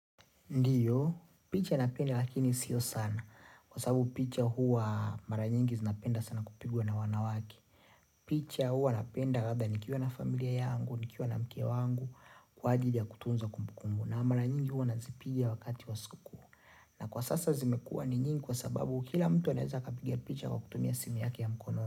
Ndio, picha napenda lakini sio sana. Kwa sababu picha huwa mara nyingi zinapenda sana kupigwa na wanawake. Picha huwa napenda ratha nikiwa na familia yangu, nikiwa na mke wangu, kwa ajili ya kutunza kumbukumu. Na mara nyingi huwa nazipiga wakati wa siku kuu. Na kwa sasa zimekua ni nyingi kwa sababu kila mtu anaeza kapiga picha kwa kutumia simu yake ya mkono.